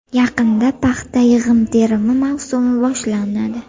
Yaqinda paxta yig‘im-terimi mavsumi boshlanadi.